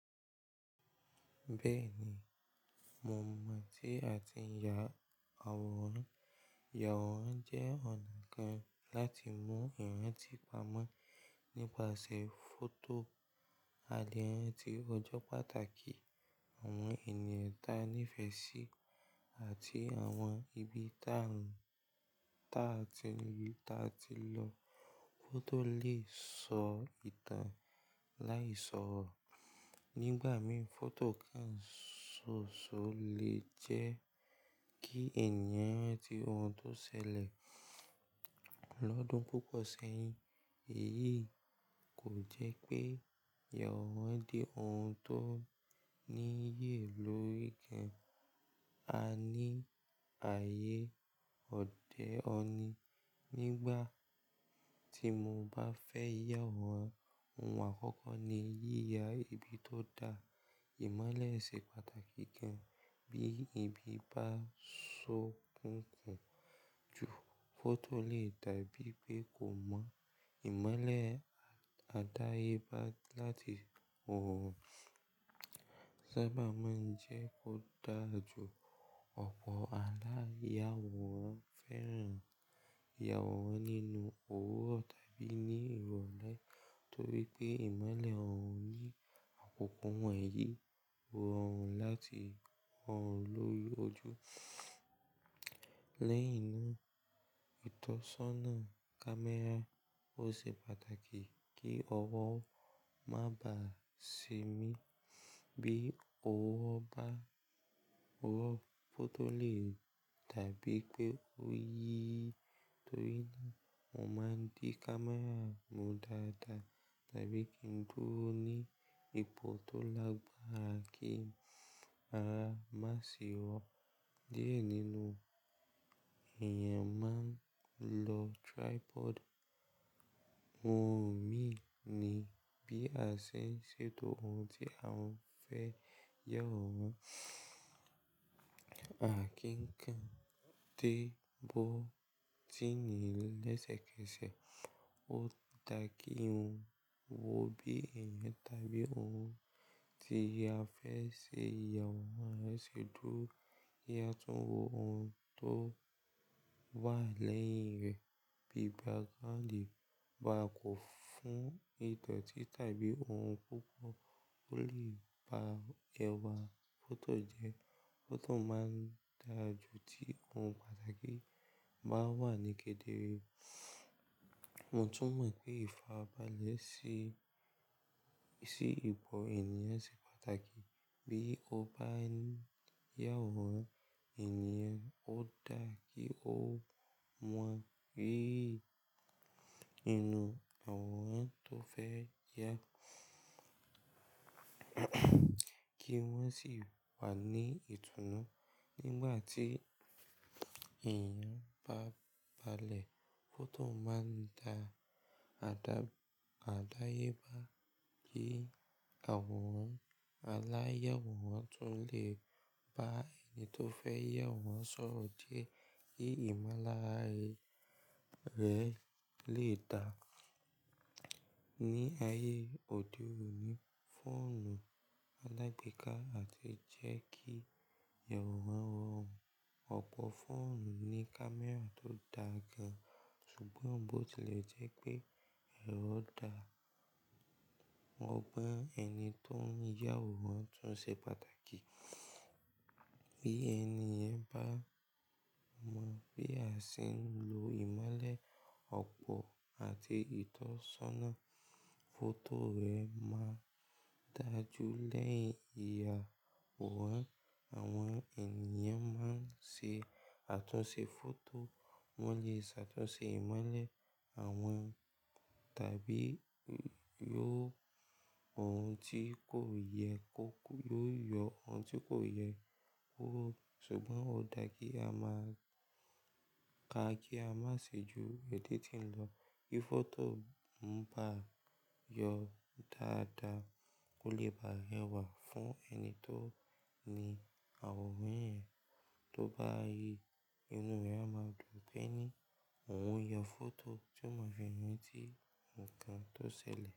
Bẹ́ẹ̀ ni, mo mọ̀ tí a ti ń ya àwòrán. Ya àwòrán jẹ́ ọ̀nà kan láti mú èèyàn ti pamọ́ nípasẹ̀ fọ́tò. Àlé rànti òjò pàtàkì, àwọn ènìyàn ta nífẹ̀ẹ́ sí àti àwọn ibi tá ń, ta tí, ta tí lọ. Fọ́tò lè sọ ìtàn láì sọ̀rọ̀. Nígbà mìí, fọ́tò kan ṣoṣo lè jẹ́ kí ènìyàn ranti ohun tó ṣẹlẹ̀ lọ́dún púpọ̀ sẹ́yìn. Èyí kò jẹ́ pé ya àwòrán di ohun tó níyì lórí kan. A ní ààyè òde òní. Nígbà tí mo bá fẹ́ ya àwòrán, ohun àkọ́kọ́ ni yíya ibi tó da. Ìmọ́lẹ̀ ṣe pàtàkì gan. Bí ibi bá ṣó kunkùn ju fọ́tò lè dàbí pé kò mọ́. Ìmọ́lẹ̀ àdáyébá láti òòrùn sábà máa ń jẹ́ kó dà jú ọ̀pọ̀ aláya àwòrán. Fẹ́ràn ya àwòrán nínú òwúrọ̀ tàbí ní ìrọ̀lẹ́ nítorí pé ìmọ́lẹ̀ òòrùn yí àkòkọ́ wọ̀nyí, rọrùn láti hàn ló ojú. Lẹ́yìn náà, ìtọ́sọ́nà kámẹ́rà ó ṣe pàtàkì kí ọwọ́ má bàá ṣe mí bí ó wo bá, owó fọ́tò lè dàbí pé ó yí, torí náà mo máa ń dí kámẹ́rà mú dáadáa tàbí kí n dúró ní ipò tó lágbára kí ara má sì rọ̀. Diẹ nínú èèyàn máa ń lo tripod. Ohun mí ní bí a ṣe ń ṣètò ohun tí a ń fẹ́ ya àwòrán à kí ń kan dé bọ́tíní lẹ́sẹ̀kẹsẹ̀. Ó dà kí ohun wo bí èèyàn tàbí ohun tí a fẹ́ ṣe ìyàwòrán rẹ̀ ṣètò kí a tún wo ohun tó wà lẹ́yìn rẹ̀ bí background bá kò fún ìdioti tàbí ohun púpọ̀ ó lè ba ẹwà fọ́tò jẹ́. Fọ́tò máa ń dà jú tí ohun pàtàkì bá wà níkédere. Mo tún mọ̀ pé ìfàrabálẹ̀ se, sí ipò èèyàn ṣe pàtàkì. Bí ó bá ń ya àwòrán, èniyan ó dà kí ó mọ̀ pé inú àwòrán tó fẹ́ ya, kí wọ́n sì wà ní ìtùnú nígbà tí èèyàn bá balẹ̀. Fọ́tò máa ń dà àdáyébá ni àwòrán. Aláya àwòrán tún lè bá ẹni tó fẹ́ ya àwòrán sọ̀rọ̀ die kí ìmolára rẹ̀ lè dà. Ní ayé òde òní, fóònù alágbeeká àti jẹ́ kí ya àwòrán rọrùn. Ọ̀pọ̀ fóònù ní kámẹ́rà tó dáa gan, ṣùgbọ́n bó ti lè jẹ́ pé èrò dà, mo gbọ́ ẹni tó ń ya àwòrán tún ṣe pàtàkì. Bí èni yen bá mọ̀ bí a ṣe ń lo ìmọ́lẹ̀ ọ̀pọ̀ àti ìtọ́sọ́nà, fọ́tò rẹ̀ máa dà jú. Lẹ́yìn ìyà àwòrán, àwọn èniyan máa ń ṣe àtúnṣe fọ́tò, wọ́n lè ṣàtúnṣe ìmọ́lẹ̀ àwọn tàbí yó ohun tí kò yẹ kó yó yọ ohun tí kò yẹ kó. Ṣùgbọ́n ó dà kí a máà ka kí a máa ṣe ju èditing lọ. Bí fọ́tò ń bá yọ dáadáa, ó lè ba ẹwà fún ẹni tó ní àwòrán yẹn. Tó bá ri, inú rẹ̀ á máa dùn pé ní òun y fọ́tò, tí ó mọ fẹ́ràn tí nǹkan tó ṣẹlẹ̀.